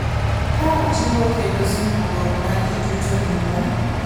Ka wajiwo kendo singruok ma ji duto nigo,